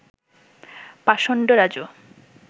পাষণ্ড রাজু